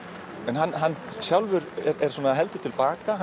hann sjálfur er heldur til baka